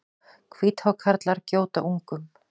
Hvíthákarlar gjóta ungum.